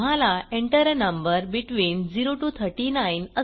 तुम्हाला Enter a number between 0 to 39